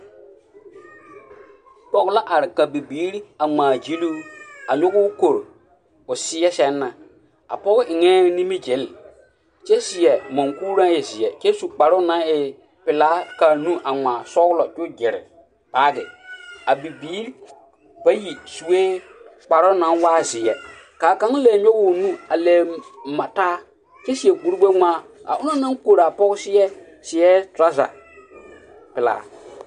Pɔɡe la a are ka bibiiri a ŋmaaɡyili o a nyɔɡe o kori o seɛ sɛŋ na a pɔɡe eŋɛɛ nimiɡyele kyɛ seɛ muŋkuri na e zeɛ kyɛ su kparoo na e pelaa ka a nu ŋmaa sɔɡelɔ kyɛ o ɡyere baaɡe a bibiiri bayi sue kparoo na waa zeɛ ka kaŋ leɛ nyɔɡe o nu leɛ mataa kyɛ seɛ kurɡbɛŋmaa a onaŋ naŋ kori a pɔɡe seɛ seɛ trɔzapelaa.